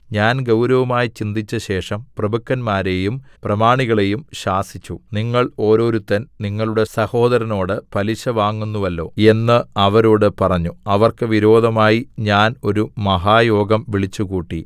ഞാൻ ഗൗരവമായി ചിന്തിച്ചശേഷം പ്രഭുക്കന്മാരെയും പ്രമാണികളെയും ശാസിച്ചു നിങ്ങൾ ഓരോരുത്തൻ നിങ്ങളുടെ സഹോദരനോട് പലിശ വാങ്ങുന്നുവല്ലോ എന്ന് അവരോട് പറഞ്ഞു അവർക്ക് വിരോധമായി ഞാൻ ഒരു മഹായോഗം വിളിച്ചുകൂട്ടി